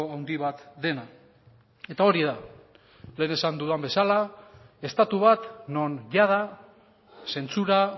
handi bat dena eta hori da lehen esan dudan bezala estatu bat non jada zentsura